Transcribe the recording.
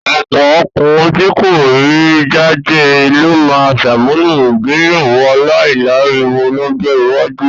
Ọ̀pọ̀ ọkùnrin tí kò rí jájẹ ló máa ṣàmúlò ìgbéyàwó aláìláriwo lọ́jọ́ iwájú.